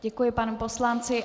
Děkuji panu poslanci.